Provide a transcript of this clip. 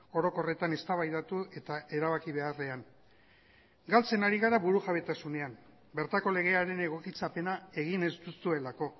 orokorretan eztabaidatu eta erabaki beharrean galtzen ari gara burujabetasunean bertako legearen egokitzapena egin ez duzuelako